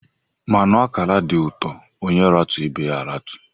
Mmanụ akara di uto, onye ratu ibe ya a ratu.